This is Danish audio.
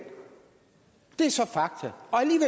det er så fakta